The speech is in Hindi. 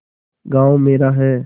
गॉँव मेरा है